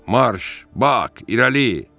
Marş, Bak, irəli!